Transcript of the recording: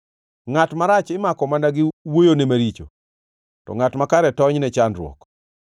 Ngʼat marach imako mana gi wuoyone maricho, to ngʼat makare tony ne chandruok.